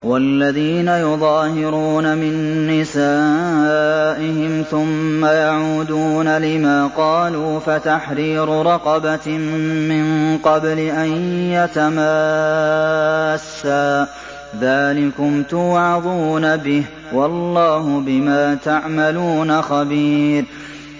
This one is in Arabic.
وَالَّذِينَ يُظَاهِرُونَ مِن نِّسَائِهِمْ ثُمَّ يَعُودُونَ لِمَا قَالُوا فَتَحْرِيرُ رَقَبَةٍ مِّن قَبْلِ أَن يَتَمَاسَّا ۚ ذَٰلِكُمْ تُوعَظُونَ بِهِ ۚ وَاللَّهُ بِمَا تَعْمَلُونَ خَبِيرٌ